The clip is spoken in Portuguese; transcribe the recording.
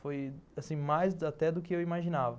Foi, assim, mais até do que eu imaginava.